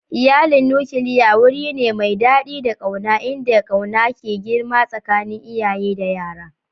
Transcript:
Iyalin nukiliya wuri ne mai daɗi da ƙauna inda ƙauna ke girma tsakanin iyaye da yara.